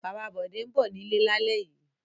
Bàbá Bọ̀dé ń bọ̀ nílé lálẹ́ yìí.